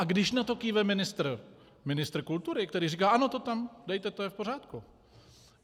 A když na to kýve ministr kultury, který říká - ano, to tam dejte, to je v pořádku...